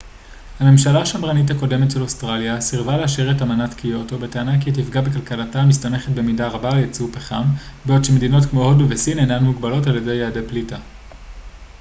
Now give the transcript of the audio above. הממשלה השמרנית הקודמת של אוסטרליה סירבה לאשר את אמנת קיוטו בטענה כי היא תפגע בכלכלתה המסתמכת במידה רבה על ייצוא פחם בעוד שמדינות כמו הודו וסין אינן מוגבלות על ידי יעדי פליטה